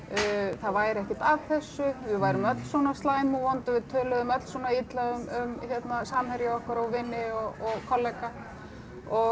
það væri ekkert að þessu við værum öll svona slæm og vond við töluðum öll svona illa um samherja okkar og vini og kollega og